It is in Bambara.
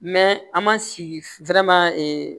an ma si